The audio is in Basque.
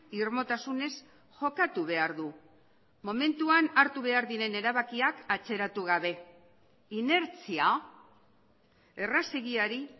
irmotasunez jokatu behar du momentuan hartu behar diren erabakiak atzeratu gabe inertzia errazegiari